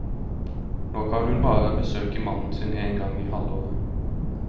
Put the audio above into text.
Nå kan hun bare besøke mannen sin en gang i halvåret.